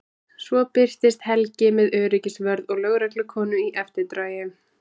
Svo birtist Helgi með öryggisvörð og lögreglukonu í eftirdragi.